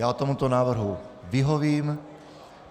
Já tomuto návrhu vyhovím.